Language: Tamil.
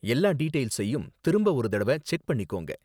எல்லா டீடெயில்ஸையும் திரும்ப ஒரு தடவ செக் பண்ணிக்கோங்க.